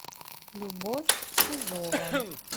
любовь сизова